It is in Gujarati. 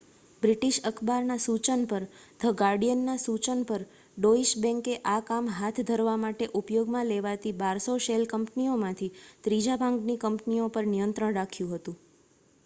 "બ્રિટિશ અખબારના સૂચન પર "ધ ગાર્ડિયન" ના સૂચન પર ડોઇશ બેન્કે આ કામ હાથ ધરવા માટે ઉપયોગમાં લેવાતી 1200 શેલ કંપનીઓમાંથી ત્રીજા ભાગની કંપનીઓ પર નિયંત્રણ રાખ્યું હતું.